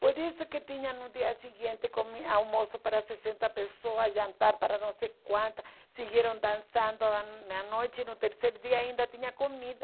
Por isso que tinha no dia seguinte comi almoço para sessenta pessoas, jantar para não sei quantas, seguiram dançando na noi na noite e no terceiro dia ainda tinha comida.